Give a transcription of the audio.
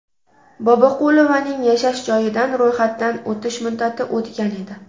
Boboqulovaning yashash joyidan ro‘yxatdan o‘tish muddati o‘tgan edi.